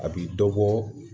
A bi dɔ bɔ